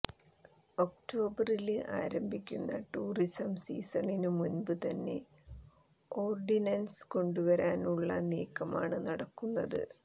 ഒക്ടോബറില് ആരംഭിക്കുന്ന ടൂറിസം സീസണിനു മുമ്പ് തന്നെ ഓര്ഡിനന്സ് കൊണ്ടുവരാനുള്ള നീക്കമാണ് നടക്കുന്നത്